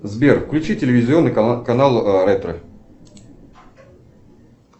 сбер включи телевизионный канал ретро